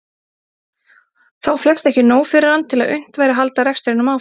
Þá fékkst ekki nóg fyrir hann til að unnt væri að halda rekstrinum áfram.